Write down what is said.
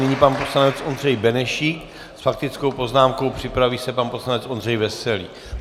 Nyní pan poslanec Ondřej Benešík s faktickou poznámkou, připraví se pan poslanec Ondřej Veselý.